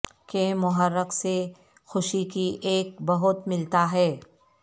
کے محرک سے خوشی کی ایک بہت ملتا ہے